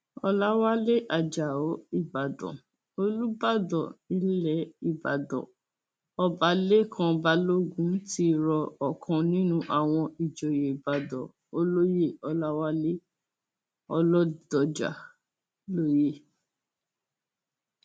ọlàwálẹ ajáò ìbàdàn olùbàdàn ilẹ ìbàdàn ọba lẹkàn balógun ti rọ ọkan nínú àwọn ìjòyè ìbàdàn olóyè ọláwálẹ ọlọdọjà lóyè